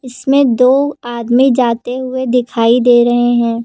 इसमें दो आदमी जाते हुए दिखाई दे रहे हैं।